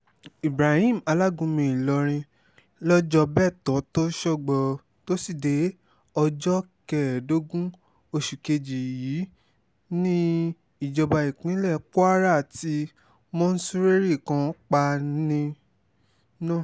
ibrahim alágúnmu ìlọrin lọ́jọ́bẹ́tò̩tò̩só̩gbò̩ tós̩ídé̩é̩ ọjọ́ ke̩é̩è̩dó̩gún o̩sù kejì yìí ní ìjọba ìpínlẹ̀ kwara tí mo̩sú̩rè̩rí kan pa ni no